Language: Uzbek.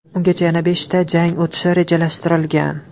Ungacha yana beshta jang o‘tishi rejalashtirilgan.